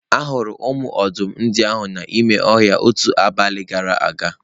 Ahụrụ ụmụ ọdụm ndị ahụ n'ime ọhịa otu abalị gara aga.